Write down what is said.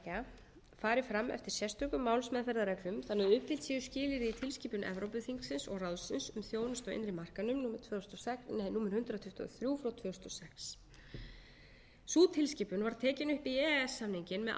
höfundaréttarsamtaka fari fram eftir sérstökum málsmeðferðarreglum þannig að uppfyllt séu skilyrði í tilskipun evrópuþingsins og ráðsins um þjónustu á innri markaðinum númer hundrað tuttugu og þrjú frá tvö þúsund og sex sú tilskipun var tekin upp í e e s samninginn með ákvörðun